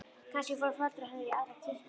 Kannski fóru foreldrar hennar í aðra kirkju.